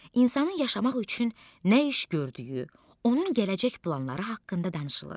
İnsanın yaşamaq üçün nə iş gördüyü, onun gələcək planları haqqında danışılır.